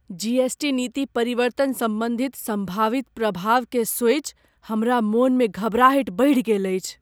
GST. नीति परिवर्तन सम्बन्धी सम्भावित प्रभावकेँ सोचि हमरा मनमे घबराहटि बढ़ि गेल अछि।